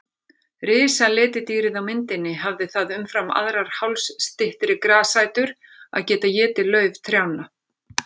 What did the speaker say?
Risaletidýrið á myndinni hafði það umfram aðrar hálsstyttri grasætur að geta étið lauf trjánna.